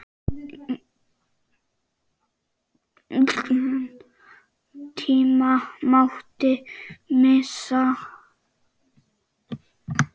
Engan tíma mátti missa.